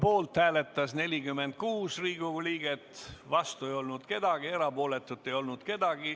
Poolt hääletas 46 Riigikogu liiget, vastu ei olnud keegi, erapooletuid ei olnud.